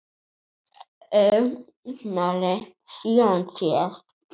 Einari, síðan sér.